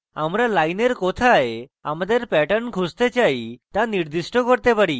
আমরা লাইনের কোথায় আমাদের pattern খুঁজতে চাই তা নির্দিষ্ট করতে পারি